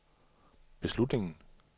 beslutningen